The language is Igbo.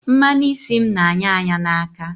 Mmanu isi m n'anya anya n'aka